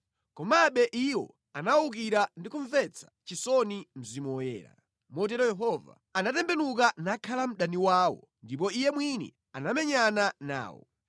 Komabe iwo anawukira ndi kumvetsa chisoni Mzimu Woyera. Motero Yehova anatembenuka nakhala mdani wawo ndipo Iye mwini anamenyana nawo.